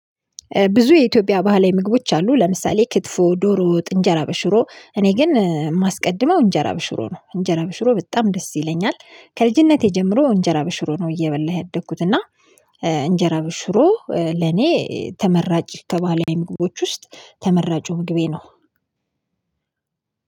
ብዙ የኢትዮጵያ ባህላዊ ምግቦች አሉ። ለምሳሌ ክትፎ ዶሮ ጥንጀራ በሽሮ። እኔ ግን የማስቀድመው እንጀራ በሽሮ ነው። እንጀራ በሽሮ በጣም ደስ ይለኛል። ከልጅነቴ ጀምሮ እንጀራ በሽሮ ነው እየበላህ ያደግኩት እና እንጀራ በሽሮ ለኔ ተመራጭ የተባለ ምግቦች ውስጥ ተመራጩ ምግቤ ነው።